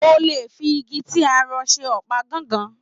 O le fi ìgi ti a rọ̀ ṣe ọpa gángan.